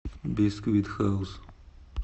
бисквит хаус